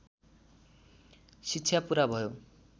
शिक्षा पुरा भयो